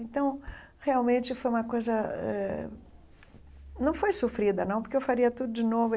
Então, realmente, foi uma coisa... eh Não foi sofrida, não, porque eu faria tudo de novo.